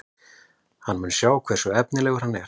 Hann mun sjá hversu efnilegur hann er.